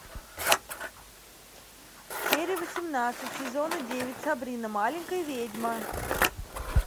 серия восемнадцать сезона девять сабрина маленькая ведьма